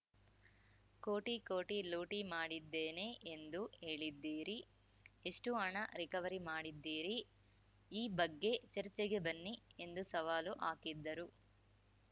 ಕೋಟಿ ಕೋಟಿ ಲೂಟಿ ಮಾಡಿದ್ದೇನೆ ಎಂದು ಹೇಳಿದ್ದೀರಿ ಎಷ್ಟುಹಣ ರಿಕವರಿ ಮಾಡಿದ್ದೀರಿ ಈ ಬಗ್ಗೆ ಚರ್ಚೆಗೆ ಬನ್ನಿ ಎಂದು ಸವಾಲು ಹಾಕಿದ್ದರು